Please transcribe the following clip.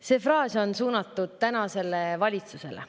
See fraas on suunatud tänasele valitsusele.